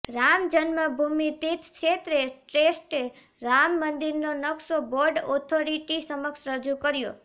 રામ જન્મભૂમિ તીર્થ ક્ષેત્ર ટ્રસ્ટે રામ મંદિરનો નક્શો બોર્ડ ઓથોરિટી સમક્ષ રજૂ કર્યો